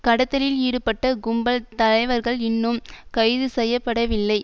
கடத்தலில் ஈடுபட்ட கும்பல் தலைவர்கள் இன்னும் கைதுசெய்யப்படவில்லை